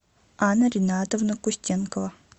анна ринатовна кустенкова